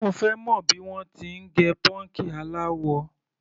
Mo fẹ́ mọ̀ bí wọ́n ti ń gẹ pọ́ǹkì aláwọ.